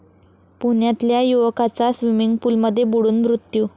पुण्यातल्या युवकाचा स्वीमिंग पूलमध्ये बुडून मृत्यू